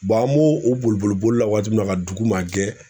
an b'u u boli boli boli la waati min na ka dugu magɛn